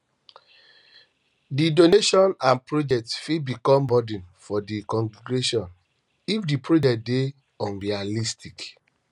di donation and project fit become burden for di congregation if di project dey unrealistic